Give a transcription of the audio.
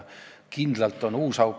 Kindlalt on nüüd uus auk.